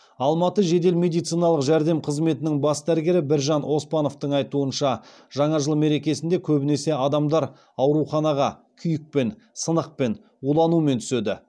алматы жедел медициналық жәрдем қызметінің бас дәрігері біржан оспановтың айтуынша жаңа жыл мерекесінде көбінесе адамдар ауруханаға күйікпен сынықпен уланумен түседі